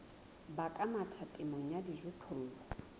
baka mathata temong ya dijothollo